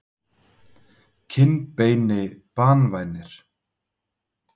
kinnbeini banvænir?